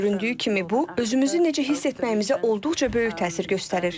Göründüyü kimi, bu, özümüzü necə hiss etməyimizə olduqca böyük təsir göstərir.